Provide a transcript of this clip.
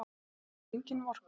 Henni er engin vorkunn.